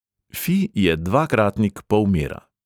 Fi je dvakratnik polmera.